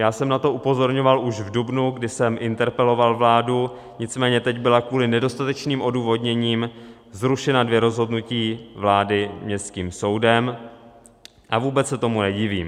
Já jsem na to upozorňoval už v dubnu, kdy jsem interpeloval vládu, nicméně teď byla kvůli nedostatečným odůvodněním zrušena dvě rozhodnutí vlády městským soudem a vůbec se tomu nedivím.